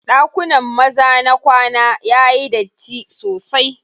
Ɗakunan maza na kwana yayi datti sosai.